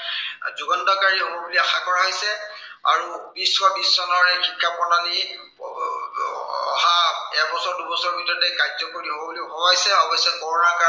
য়ুগান্তকাৰী হব বুলি আশা কৰা হৈছে, আৰু বিশ শ বিশ চনৰ শিক্ষা প্ৰণালী আহ এবছৰ দুবছৰৰ ভিতৰতে কাৰ্যকৰী হব বুলি ভবা হৈছে। অৱশ্যে কৰোনা কাল